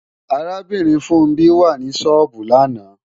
Arábìnrin Funbí wà ní sọ́ọ́bù lánàá